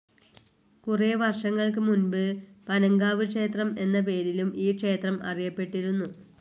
കുറേ വർഷങ്ങൾക് മുൻപ് പനങ്കാവ് ക്ഷേത്രം എന്ന പേരിലും ഈ ക്ഷേത്രം അറിയപ്പെട്ടിരുന്നു.